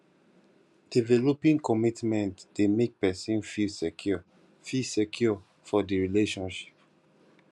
developing commitment de make persin feel secure feel secure for di relationship